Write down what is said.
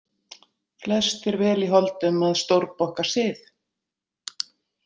Flestir vel í holdum að stórbokka sið.